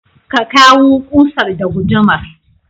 ka kawu ƙusar da gudumar.